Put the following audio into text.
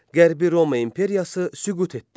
Qərbi Roma imperiyası süqut etdi.